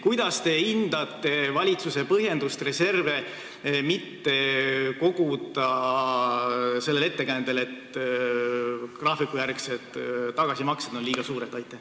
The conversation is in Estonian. Kuidas te hindate valitsuse põhjendust reserve mitte koguda ettekäändel, et graafikujärgsed tagasimaksed on liiga suured?